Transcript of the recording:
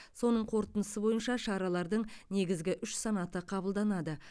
соның қорытындысы бойынша шаралардың негізгі үш санаты қабылданады